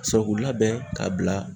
k'u labɛn ka bila.